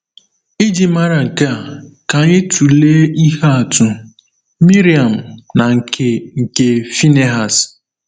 Iji mara nke a, ka anyị tụlee ihe atụ Miriam na nke nke Phinehas.